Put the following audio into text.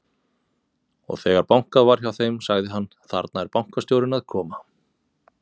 Og þegar bankað var hjá þeim, sagði hann: Þarna er bankastjórinn að koma.